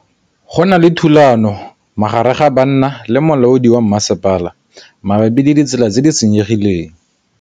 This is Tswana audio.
Go na le thulanô magareng ga banna le molaodi wa masepala mabapi le ditsela tse di senyegileng.